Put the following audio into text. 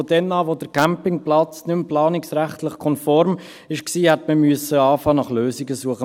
Ab dem Moment, in dem der Campingplatz planungsrechtlich nicht mehr konform war, hätte man anfangen müssen, nach Lösungen zu suchen.